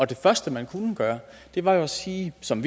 det første man kunne gøre var jo at sige som